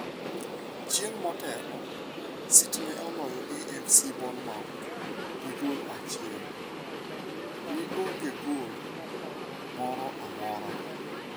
Chieng' motelo, City ne oloyo AFC Bournemouth gi gol achiel ni onge gol moro amora.